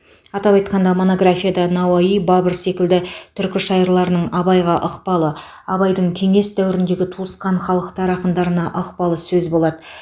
атап айтқанда монографияда науаи бабыр секілді түркі шайырларының абайға ықпалы абайдың кеңес дәуіріндегі туысқан халықтар ақындарына ықпалы сөз болады